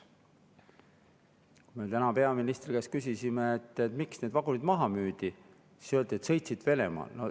Kui me täna peaministri käest küsisime, miks need vagunid maha müüdi, siis öeldi, et need sõitsid Venemaal.